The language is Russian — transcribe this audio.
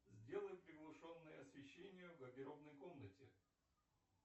сделай приглушенное освещение в гардеробной комнате